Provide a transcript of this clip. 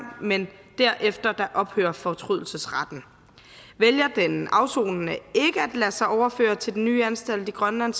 men derefter ophører fortrydelsesretten vælger den afsonende ikke at lade sig overføre til den nye anstalt i grønland